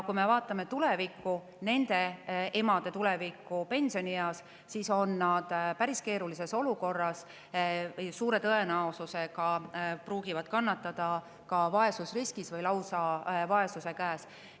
Kui me vaatame nende emade tulevikku, nad on pensionieas päris keerulises olukorras: suure tõenäosusega nad olla vaesusriskis või lausa kannatada vaesuse käes.